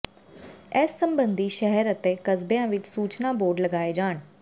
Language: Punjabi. ਇਸ ਸੰਬੰਧੀ ਸ਼ਹਿਰ ਅਤੇ ਕਸਬਿਆਂ ਵਿੱਚ ਸੂਚਨਾ ਬੋਰਡ ਲਗਾਏ ਜਾਣ